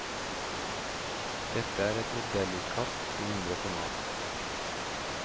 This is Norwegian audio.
Dette er et modellutkast i mindre format.